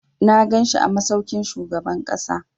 Na ganshi a masaukin shugaban ƙasa.